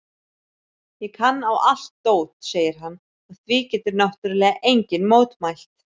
Ég kann á allt dót, segir hann og því getur náttúrlega enginn mótmælt.